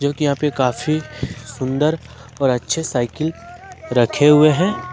कि यहां पर काफी सुंदर और अच्छे साइकिल रखे हुए हैं ।